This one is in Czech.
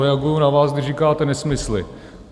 Reaguji na vás, když říkáte nesmysly.